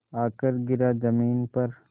आकर गिरा ज़मीन पर